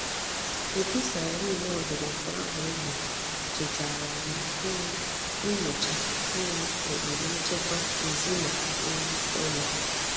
Opi siren odurukuo ahu e gburu chetara anyi um inyocha um ukpuru nchekwa ezina um ulo.